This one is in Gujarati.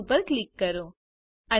ક્લોઝ ઉપર ક્લિક કરો